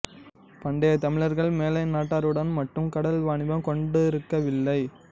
பண்டைய தமிழர்கள் மேலை நாட்டாருடன் மட்டும் கடல் வாணிபம் கொண்டிருக்கவில்லை